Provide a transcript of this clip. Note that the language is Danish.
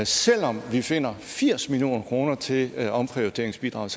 selv om vi finder firs million kroner til til omprioriteringsbidraget